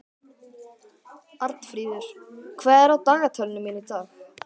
Arnfríður, hvað er á dagatalinu mínu í dag?